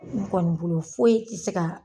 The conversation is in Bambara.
N kɔni bolo foyi tɛ se ka.